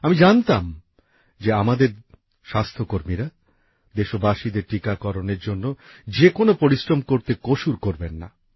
আমি জানতাম যে আমাদের স্বাস্থ্যকর্মীরা দেশবাসীদের টিকাকরণের জন্য যে কোনো পরিশ্রম করতে কসুর করবেন না